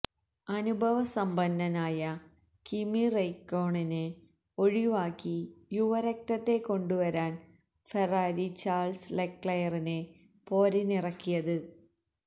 അനുഭവസമ്പന്നനായ Kimi റെയ്ക്കോണനെ ഒഴിവാക്കി യുവരക്തത്തെ കൊണ്ടുവരാനാണു ഫെറാറി ചാൾസ് ലെക്ലയറിനെ പോരിനിറക്കിയത്